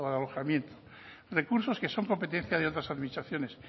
alojamiento recursos que son competencia de otras administraciones